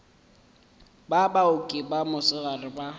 ba baoki ba mosegare ba